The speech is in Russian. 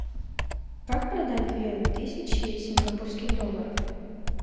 как продать две тысячи сингапурских долларов